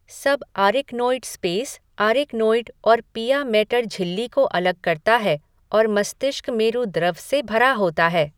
सब arachnoid space arachnoid और pia mater झिल्ली को अलग करता है और मस्तिष्कमेरु द्रव से भरा होता है।